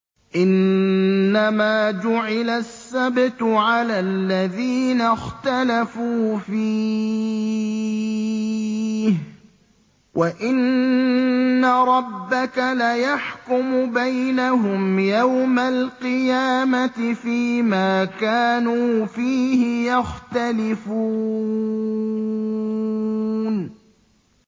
إِنَّمَا جُعِلَ السَّبْتُ عَلَى الَّذِينَ اخْتَلَفُوا فِيهِ ۚ وَإِنَّ رَبَّكَ لَيَحْكُمُ بَيْنَهُمْ يَوْمَ الْقِيَامَةِ فِيمَا كَانُوا فِيهِ يَخْتَلِفُونَ